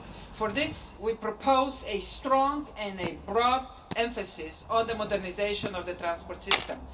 For this we propose a strong and a broad emphasis on the modernisation of the transport system.